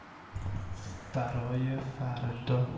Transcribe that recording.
второе фары то